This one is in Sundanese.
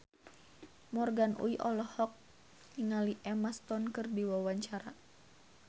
Morgan Oey olohok ningali Emma Stone keur diwawancara